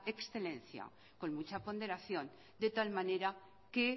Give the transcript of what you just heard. excelencia con mucha ponderación de tal manera que